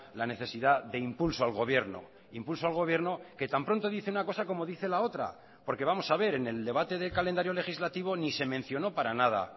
la necesidad de impulso al gobierno impulso al gobierno que tan pronto dice una cosa como dice la otra porque vamos a ver en el debate del calendario legislativo ni se mencionó para nada